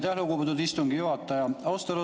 Aitäh, lugupeetud istungi juhataja!